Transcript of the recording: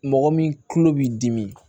Mɔgɔ min tulo b'i dimi